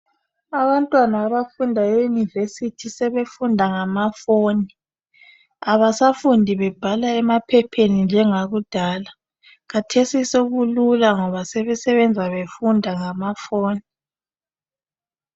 Abantwana abafunda eYunivesi sebefunda ngamafoni. Abasafundi bebhala emaphepheni njengakudala. Khathesi sokulula ngoba sebefunda besebenza ngamafoni.